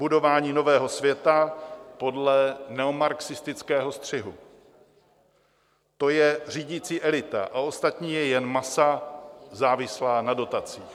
Budování nového světa podle neomarxistického střihu - to je řídící elita a ostatní je jen masa závislá na dotacích.